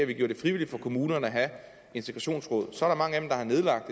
vi gjorde det frivilligt for kommunerne at have et integrationsråd så er der mange af dem der har nedlagt